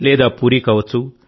లేదా పూరీ కావచ్చు